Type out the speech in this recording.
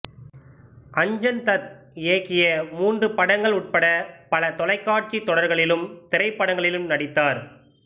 அஞ்சன் தத் இயக்கிய மூன்று படங்கள் உட்பட பல தொலைக்காட்சி தொடர்களிலும் திரைப்படங்களிலும் நடித்தார்